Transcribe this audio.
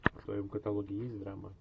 в твоем каталоге есть драма